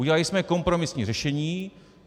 Udělali jsme kompromisní řešení.